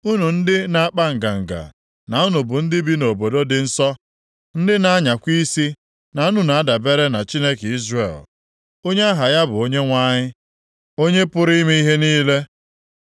Unu ndị na-akpa nganga na unu bụ ndị bi nʼobodo dị nsọ, ndị na-anyakwa isi na unu na-adabere na Chineke Izrel. Onye aha ya bụ Onyenwe anyị, Onye pụrụ ime ihe niile.